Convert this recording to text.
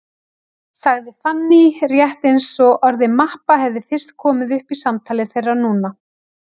sagði Fanný, rétt eins og orðið mappa hefði fyrst komið upp í samtali þeirra núna.